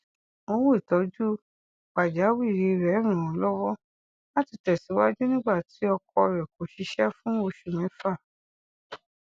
owó ìtójú pajawiri rẹ ràn án lọwọ láti tẹsíwájú nígbà tí ọkọ rẹ kò ṣiṣẹ fún oṣù mẹfà